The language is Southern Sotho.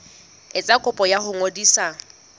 etsa kopo ya ho ngodisa